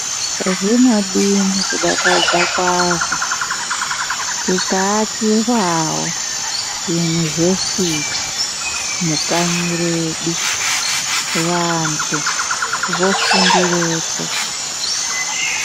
Zvinodini kudakadzwa kwazvo tikaakirwawo yunivhesiti mukanyi redu vantu vofundirepo.